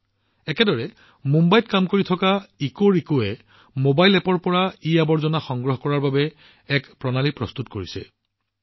ঠিক একেদৰে মুম্বাইত কাম কৰা ইকোৰেকোৱে এটা মোবাইল এপৰ জৰিয়তে ইৱেষ্ট সংগ্ৰহ কৰাৰ এক ব্যৱস্থা বিকশিত কৰিছে